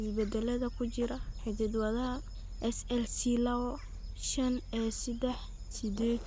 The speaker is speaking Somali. isbeddellada ku jira hidda-wadaha SLClawo shaanAseddax sidded.